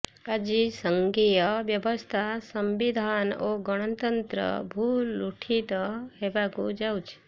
ଆଜି ସଂଘୀୟ ବ୍ୟବସ୍ଥା ସଂବିଧାନ ଓ ଗଣତନ୍ତ୍ର ଭୂଲୁଣ୍ଠିତ ହେବାକୁ ଯାଉଛି